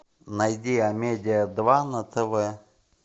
найди амедиа два на тв